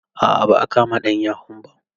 A'a ba'a kama ɗan yahun ba.